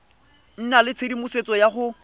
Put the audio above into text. nna le tshedimosetso ya go